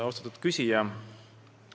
Austatud küsija!